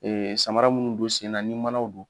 Ee samara minnu don sen na ni manaw don